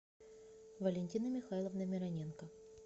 валентины михайловны мироненко